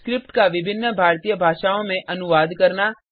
script का विभिन्न भारतीय भाषाओं में अनुवाद करना